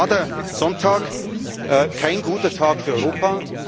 Deswegen war der Sonntag kein guter Tag für Europa.